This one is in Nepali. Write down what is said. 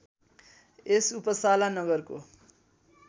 यस उपसाला नगरको